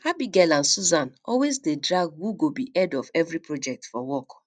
abigail and susan always dey drag who go be head of every project for work